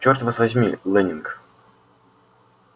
чёрт вас возьми лэннинг